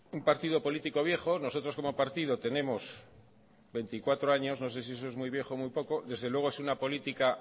un partido político viejo nosotros como partido tenemos veinticuatro años no sé si eso es muy viejo o muy poco desde luego es una política